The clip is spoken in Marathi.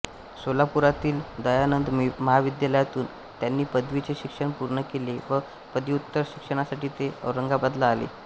सोलापुरातील दयानंद महाविद्यालयातून त्यांनी पदवीचे शिक्षण पूर्ण केले व पदव्युत्तर शिक्षणासाठी ते औरंगाबादला आले